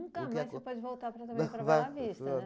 mais você pode voltar para também para a Bela Vista, né?